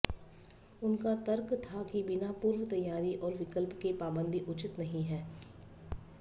उनका तर्क था कि बिना पूर्व तैयारी और विकल्प के पाबंदी उचित नहीं है